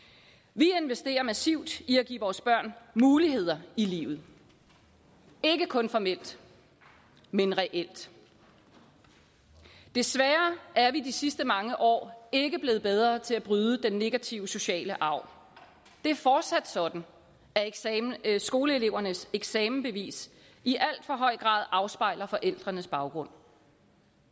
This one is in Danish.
vi investerer massivt i at give vores børn muligheder i livet ikke kun formelt men reelt desværre er vi de sidste mange år ikke blevet bedre til at bryde den negative sociale arv det er fortsat sådan at skoleelevernes eksamensbevis i alt for høj grad afspejler forældrenes baggrund